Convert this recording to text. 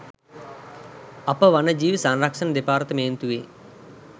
අප වන ජීවි සංරක්‍ෂණ දෙපාර්තමේන්තුවේ